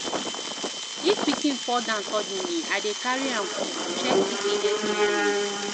If pikin fall down suddenly, I dey carry am quick, check if e get injury.